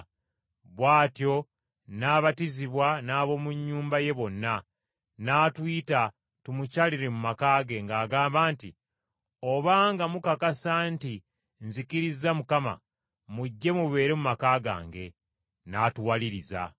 Bw’atyo n’abatizibwa n’ab’omu nnyumba ye bonna. N’atuyita tumukyalire mu maka ge, ng’agamba nti, “Obanga mukakasa nti nzikirizza Mukama, mujje mubeere mu maka gange.” N’atuwaliriza.